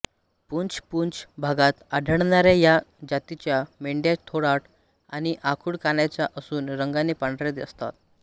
पूंछ पूंछ भागात आढळणाऱ्या या जातीच्या मेंढ्या थोराड आणि आखूड कानाच्या असून रंगाने पांढऱ्या असतात